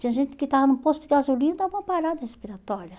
Tinha gente que estava num posto de gasolina e dava uma parada respiratória.